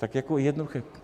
Tak jako jednoduché.